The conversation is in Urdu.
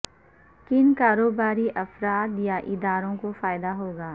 کن کاروباری افراد یا اداروں کو فائدہ ہو گا